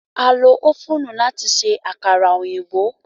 À lo ófùnù láti ṣe àkàrà òyìnbó.